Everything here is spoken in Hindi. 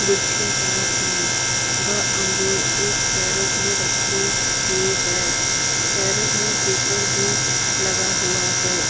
गुच्छेदार हैं। वह अंगूर एक कैरट में रखी हुई है। कैरट में पेपर भी लगा हुआ है।